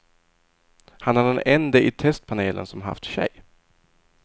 Han är den ende i testpanelen som haft tjej.